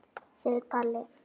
segir Palli.